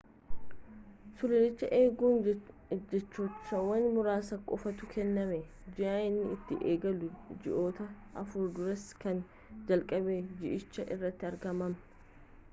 sululicha eeguu jechahayyama muraasa qofatu kennama ji'a inni itti eegalu ji'oottan afur dursee kan jalqaba ji'ichaa irratti argaman